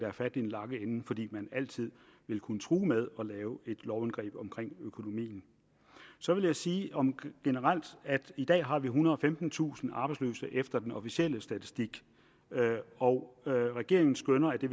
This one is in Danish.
har fat i den lange ende fordi man altid vil kunne true med at lave et lovindgreb om økonomien så vil jeg sige generelt at i dag har vi ethundrede og femtentusind arbejdsløse efter den officielle statistik og regeringen skønner at det